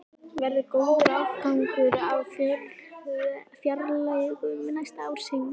Verður góður afgangur á fjárlögum næsta árs, Heimir?